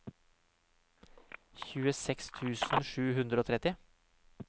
tjueseks tusen sju hundre og tretti